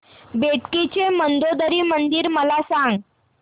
बेटकी चे मंदोदरी मंदिर मला सांग